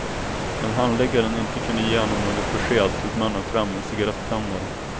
När handläggaren inte kunde ge honom något besked tog mannen fram en cigarettändare.